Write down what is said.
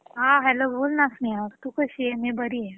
हा हॅलो बोल ना स्नेहा तू कशी आहेस मी बरिये